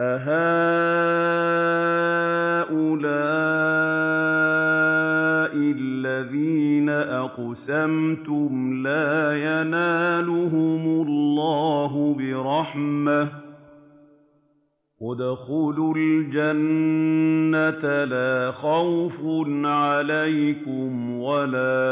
أَهَٰؤُلَاءِ الَّذِينَ أَقْسَمْتُمْ لَا يَنَالُهُمُ اللَّهُ بِرَحْمَةٍ ۚ ادْخُلُوا الْجَنَّةَ لَا خَوْفٌ عَلَيْكُمْ وَلَا